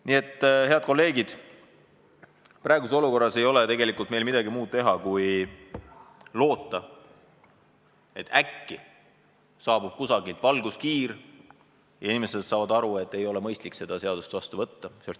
Nii et, head kolleegid, praeguses olukorras ei ole meil midagi muud teha kui loota, et äkki saabub kusagilt valguskiir ja inimesed saavad aru, et ei ole mõistlik seda seadust vastu võtta.